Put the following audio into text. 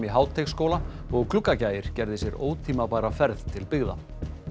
í Háteigsskóla og Gluggagægir gerði sér ótímabæra ferð til byggða